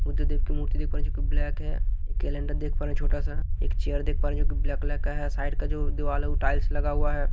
बुद्ध देव की मूर्ति देख पा रहे हैं जोकि ब्लैक है कैलेंडर देख पा रहे हैं छोटा सा एक चेयर देख पा रहे हैं जो कि ब्लैक कलर का है साइड का जो दीवाल है वो टाइल्स लगा हुआ है।